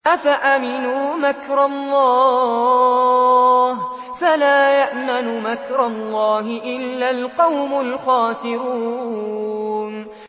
أَفَأَمِنُوا مَكْرَ اللَّهِ ۚ فَلَا يَأْمَنُ مَكْرَ اللَّهِ إِلَّا الْقَوْمُ الْخَاسِرُونَ